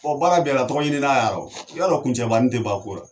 Ɔn baara bɛɛ la tɔgɔ ɲini n'a yarɔ. I b'a dɔn kuncɛbanin te ban ko la .